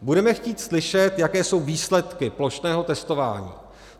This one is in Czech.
Budeme chtít slyšet, jaké jsou výsledky plošného testování.